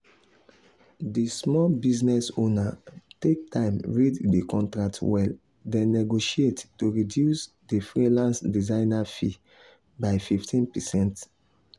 the small business owner take time read the contract well then negotiate to reduce the freelance designer fee by 15%.